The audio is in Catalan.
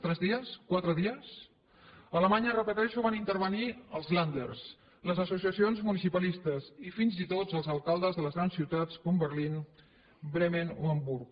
tres dies quatre dies a alemanya ho repeteixo van intervenir hi els länder les associacions municipalistes i fins i tot els alcaldes de les grans ciutats com berlín bremen o hamburg